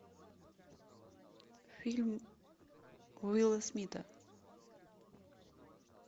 фильм уилла смита